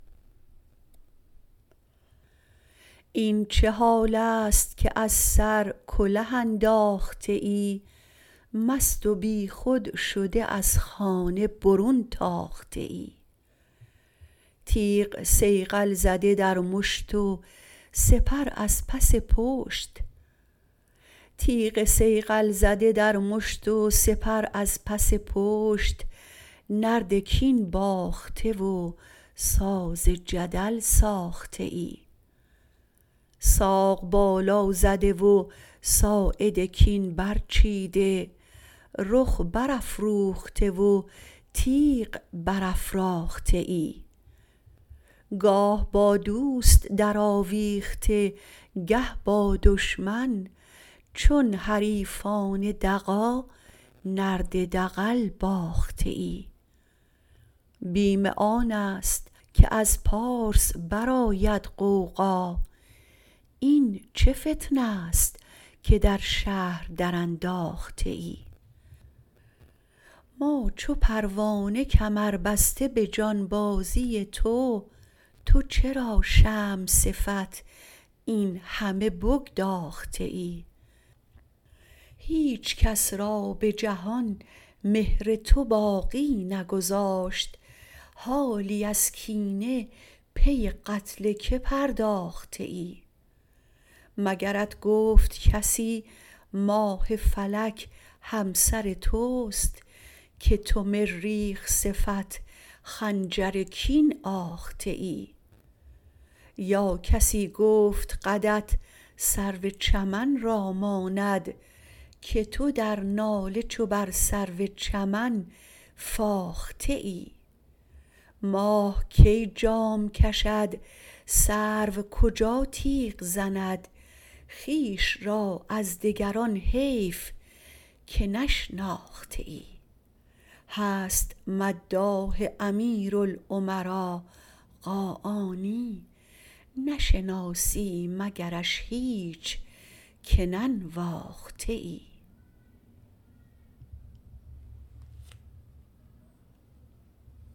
این چه حالست که از سرکله انداخته ای مست و بیخود شده از خانه برون تاخته ای تبغ صیقل زده در مشت و سپر از پس پشت نرد کین باخته و ساز جدل ساخته ای ساق بالا زده و ساعد کین برچیده رخ برافروخته و تیغ برافراخته ای گاه با دوست درآویخته گه با دشمن چون حریفان دغا نرد دغل باخته ای بیم آنست که از پارس برآید غوغا این چه فتنه است که در شهر درانداخته ای ما چو پروانه کمر بسته به جانبازی تو تو چرا شمع صفت این همه بگداخته ای هیچ کس را به جهان مهر تو باقی نگذاشت حالی ازکینه پی قتل که پرداخته ای مگرت گفت کسی ماه فلک همسر تست که تو مریخ صفت خنجرکین آخته ای یا کسی گفت قدت سرو چمن را ماند که تو در ناله چو بر سرو چمن فاخته ای ماه کی جام کشد سرو کجا تیغ زند خویش را از دگران حیف که نشناخته ای هست مداح امیرالامرا قاآنی نشناسی مگرش هیچ که ننواخته ای